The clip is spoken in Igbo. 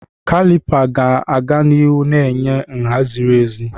Kalịpa ga-aga n'ihu na-enye nha ziri ezi.